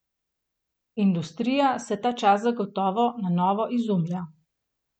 Industrija se ta čas zagotovo na novo izumlja.